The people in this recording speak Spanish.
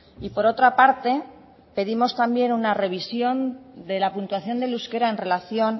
y por otra parte pedimos también una revisión de la puntuación del euskera en relación